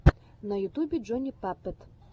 на ютубе джони паппет